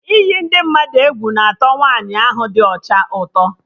Iyi ndị mmadụ egwu na atọ Nwaanyi ahụ dị ọcha ụtọ